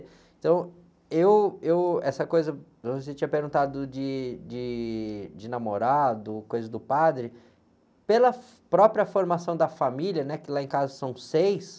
Então, eu, eu essa coisa que você tinha perguntado de, de, de namorado, coisa do padre, pela própria formação da família, né? Que lá em casa são seis,